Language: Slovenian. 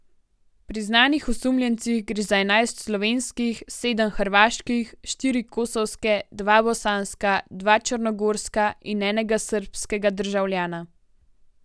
Pri znanih osumljencih gre za enajst slovenskih, sedem hrvaških, štiri kosovske, dva bosanska, dva črnogorska in enega srbskega državljana.